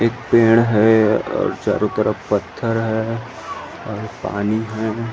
एक पेड़ हे और चारों तरफ पत्थर है और पानी है।